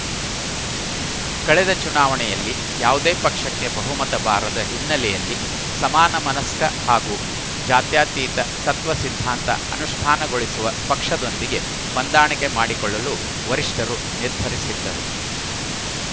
ಕಳೆದ ಚುನಾವಣೆಯಲ್ಲಿ ಯಾವುದೇ ಪಕ್ಷಕ್ಕೆ ಬಹುಮತ ಬಾರದ ಹಿನ್ನೆಲೆಯಲ್ಲಿ ಸಮಾನ ಮನಸ್ಕ ಹಾಗೂ ಜಾತ್ಯತೀತ ತತ್ವಸಿದ್ಧಾಂತ ಅನುಷ್ಠಾನಗೊಳಿಸುವ ಪಕ್ಷದೊಂದಿಗೆ ಹೊಂದಾಣಿಕೆ ಮಾಡಿಕೊಳ್ಳಲು ವರಿಷ್ಠರು ನಿರ್ಧರಿಸಿದ್ದರು